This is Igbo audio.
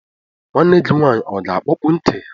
Nwanne gị nwaanyị ọ ga-akpọpu ntị ya?